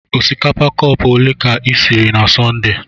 Osikapa cọpu ole ka isiri na Sọnde?